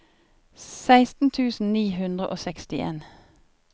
seksten tusen ni hundre og sekstien